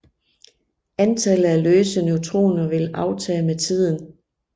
Antallet af løse neutroner vil aftage med tiden